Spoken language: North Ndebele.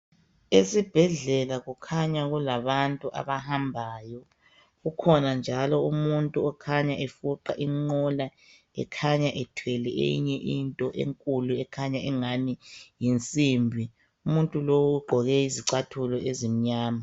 Esibhedlela kukhanya kulabantu abahambayo. Kukhona njalo umuntu okhanya efuqa inqola ekhanya ithwele eyinye into enkulu ekhanya engani yinsimbi. Umuntu lo ugqoke izicathulo ezimnyama.